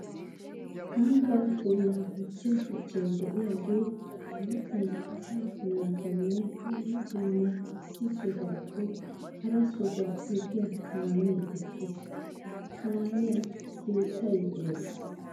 Ambba puula gujjiya shuchchay de'iyaga matan asaa naatanne dumma dumma issi sohuwappe hara sohuwa efiya kaame eqqiis. Ha kaamiya keettay de'ees.